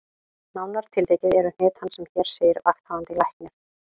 Nánar tiltekið eru hnit hans sem hér segir: Vakthafandi Læknir